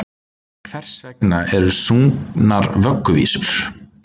Hvers vegna eru sungnar vögguvísur?